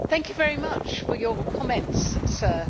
Thank you very much for your comments, sir.